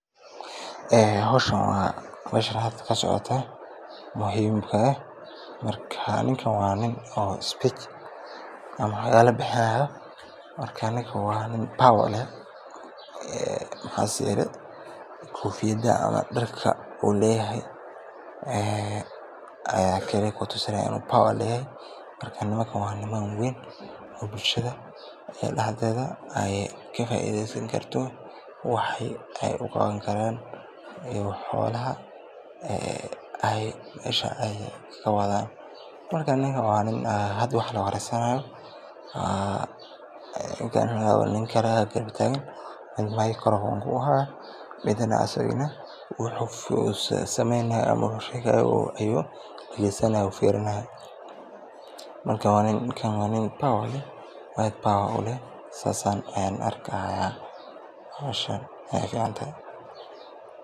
Howshan halka kasocoto oo muhiimka wa qof speech ama hadalo bixinayo marka ninkan wa niin power leeh kofiyada ama darka uu leyahay aya kutusinaya bawarkisa aya kafaidesan karto waxa ey uqawani karan xolaha ay meesha ay kawadan marka ninka kale aya garab tagan uu makorofonka uhayo oo midna asagana wuxu sameynaya ayu firinayo marka ninka wa niin bawar leeh sidas ayan arkaya howshaan.